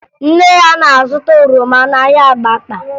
Nne ya na-azụta oroma n'ahịa Abakpa